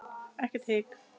Ekkert hik.